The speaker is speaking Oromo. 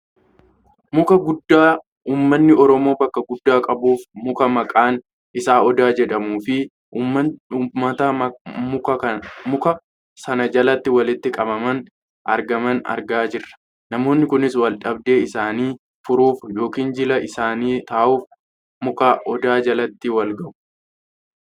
muka guddaa Ummanni Oromoo bakka guddaa qabuuf muka maqaan isaa Odaa jedhamuufi uummata muka sana jalatti walitti qabamanii argaman argaa jirra. namoonni kunis waldhabdee isaanii furuuf yookaan jila isaanii taa'uuf muka Odaa jalatti wal gahu.